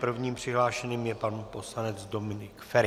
Prvním přihlášeným je pan poslanec Dominik Feri.